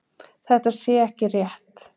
Þetta sé ekki rétt